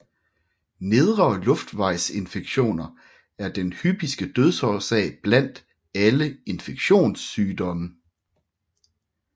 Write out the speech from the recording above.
Nedre luftvejsinfektioner er den hyppigste dødsårsag blandt alle infektionssygdomme